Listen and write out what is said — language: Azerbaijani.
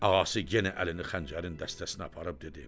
Ağası yenə əlini xəncərin dəstəsinə aparıb dedi: